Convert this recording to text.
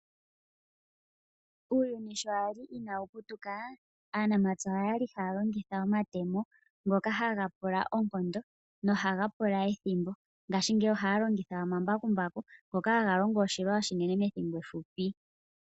Uuyuni sho wali ina wu putuka aanamapya Okwali ha ya longitha omatemo ngoka ha ga pula oonkondo no ha ga pula ethimbo. Ngashingeyi oha ya longitha omambakumbaku ngoka ha ga longo oshilwa oshinene methimbo ehupi.